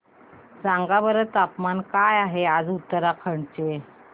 सांगा बरं तापमान काय आहे आज उत्तराखंड चे